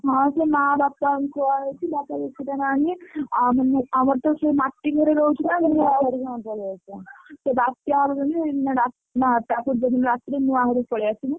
ହଁ ସେ ମା ବାପା ଙ୍କୁ କୁହା ହେଇଛି ବାପା ଯଦି ସେଇଟା ନ ଆଣିବେ ଆମର ତ ସେ ମାଟି ଘରେରହୁଛୁ ନା ସେ ବାତ୍ୟା ହବ ଯୋଉଦିନ ତା ପୂର୍ବ ଦିନ ରାତିରେ ନୂଆ ଘରକୁ ପଳେଈ ଆସିମୁ।